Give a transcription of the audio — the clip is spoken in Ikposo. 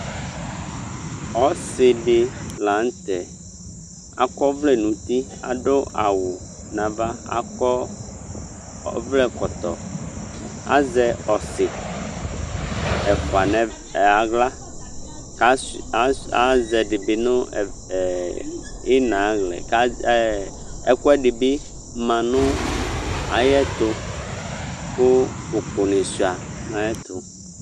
Ɔsɩdɩ la nʊtɛ Akɔ ɔvlɛ nʊ uti Adʊ awʊ nʊ ava Akɔ ɔvlɛ ɛkɔtɔ Azɛ ɔsɩ ɛfwa nʊ aɣla Azɛ ɛdɩbɩ nʊ ina ayʊ aɣla yɛ Ɛkʊ ɛdɩbɩ ma nʊ ayʊ ɛtʊ kʊ ʊkʊnɩ suia nʊ ayʊ ɛtʊ